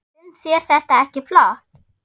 Finnst þér þetta ekki flott?